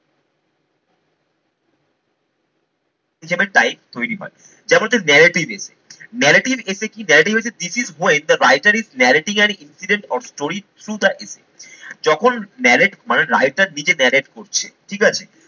এটা একটা type তৈরি হয়। যেমন হচ্ছে narrative essay, narrative essay কি narrative হচ্ছে this is when the writer is narrating an incident or story through the essay যখন narrate মানে writer নিজে narrate করছে ঠিকাছে।